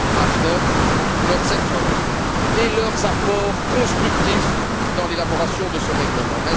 Häfner pour leurs efforts et leurs apports constructifs dans l'élaboration de ce règlement.